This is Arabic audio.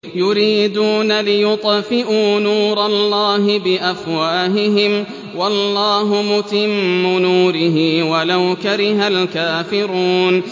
يُرِيدُونَ لِيُطْفِئُوا نُورَ اللَّهِ بِأَفْوَاهِهِمْ وَاللَّهُ مُتِمُّ نُورِهِ وَلَوْ كَرِهَ الْكَافِرُونَ